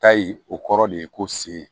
Ta in o kɔrɔ de ye ko sen